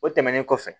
O tɛmɛnen kɔfɛ